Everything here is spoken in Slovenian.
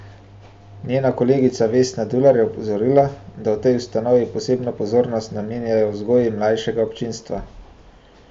Njena kolegica Vesna Dular je opozorila, da v tej ustanovi posebno pozornost namenjajo vzgoji mlajšega občinstva.